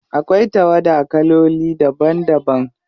Akwai tawada kaloli daban daban.